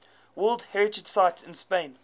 world heritage sites in spain